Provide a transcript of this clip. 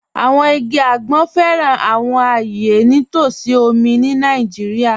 Àwọn igi agbọn fẹ́ran àwọn ayé ní t'ọsí omi ni Naijíríà.